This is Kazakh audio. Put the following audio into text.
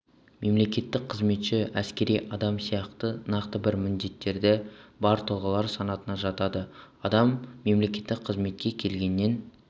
мемлекеттік қызметші әскери адам сияқты нақты бір міндеттері бар тұлғалар санатына жатады адам мемлекеттік қызметке келгеннен